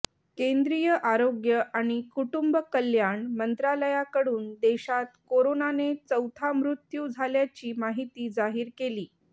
केंद्रीय आरोग्य आणि कुटुंब कल्याण मंत्रालयाकडून देशाता कोरोनाने चौथा मृत्यू झाल्याची माहिती जाहीर केली